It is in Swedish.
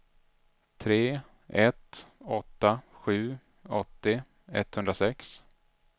tre ett åtta sju åttio etthundrasex